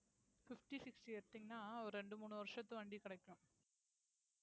fifty, sixty எடுத்தீங்கன்னா ஒரு இரண்டு, மூணு வருஷத்து வண்டி கிடைக்கும்